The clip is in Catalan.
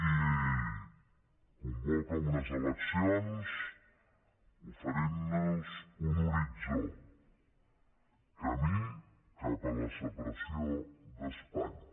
i convoca unes eleccions oferint nos un horitzó camí cap a la separació d’espanya